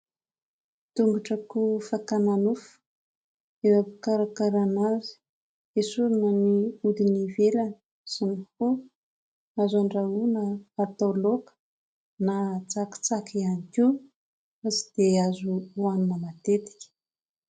Tongotr'akoho fakana nofo eo ampikarakarana azy, esorina ny hodiny ivelany sy ny hoho, azo an-drahoana atao laoka na tsakitsaky ihany koa fa tsy dia azo hoanina matetika.